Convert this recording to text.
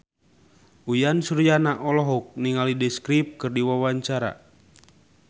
Uyan Suryana olohok ningali The Script keur diwawancara